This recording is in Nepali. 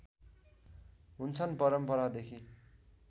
हुन्छन् परम्परादेखि